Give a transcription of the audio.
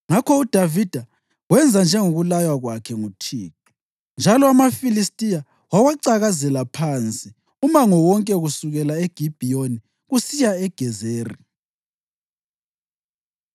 Ngakho uDavida wenza njengokulaywa kwakhe nguThixo, njalo amaFilistiya wawacakazela phansi umango wonke kusukela eGibhiyoni kusiya eGezeri.